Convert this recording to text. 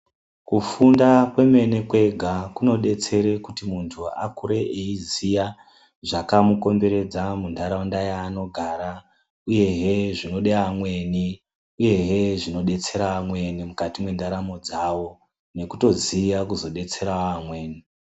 Kufunda kwemene kwega kunobetsere kuti muntu akure eiziya zvakamukomberedza muntaraunda yaanogara, uyehe zvinode amweni, uyehe zvinodetsera amweni mukati mwendaramo dzavo nokutoziya kuzobetseravo amweni.